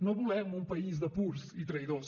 no volem un país de purs i traïdors